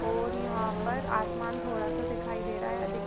और यहाँ पर आसमान थोड़ा सा दिखाई दे रहा है अधिक--